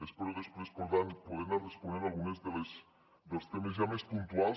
espero després per tant poder anar responent a alguns dels temes ja més puntuals